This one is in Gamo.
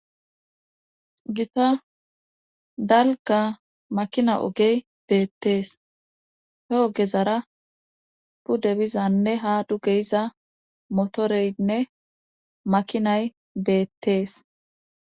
Gita dalgga makina ogey beettees hee ogezara pudde bizanne ha duge yiza motoreynne makinay beettees